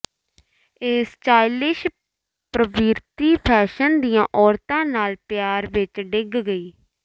ਇਹ ਸਟਾਈਲਿਸ਼ ਪ੍ਰਵਿਰਤੀ ਫੈਸ਼ਨ ਦੀਆਂ ਔਰਤਾਂ ਨਾਲ ਪਿਆਰ ਵਿੱਚ ਡਿੱਗ ਗਈ